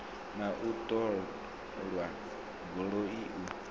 na u ṱola dzigoloi u